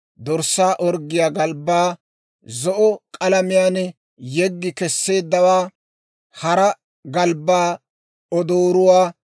dorssaa orggiyaa galbbaa zo'o k'alamiyaan yeggi kesseeddawaa, hara galbbaa, odooruwaa,